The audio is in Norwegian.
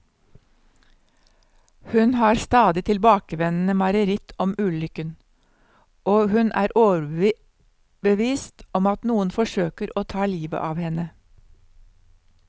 Hun har stadig tilbakevendende mareritt om ulykken, og hun er overbevist om at noen forsøker å ta livet av henne.